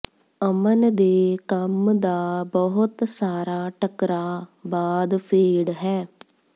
ਅਮਨ ਦੇ ਕੰਮ ਦਾ ਬਹੁਤ ਸਾਰਾ ਟਕਰਾਅ ਬਾਅਦ ਫੇਡ ਹੈ